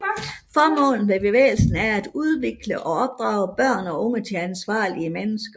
Formålet med bevægelsen er at udvikle og opdrage børn og unge til ansvarlige mennesker